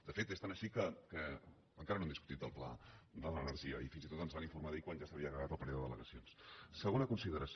de fet és tant així que encara no hem discutit el pla de l’energia i fins i tot ens van informar d’ell quan ja s’havia acabat el període d’al·segona consideració